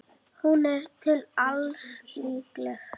Hún er til alls líkleg.